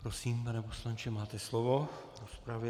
prosím, pane poslanče, máte slovo v rozpravě.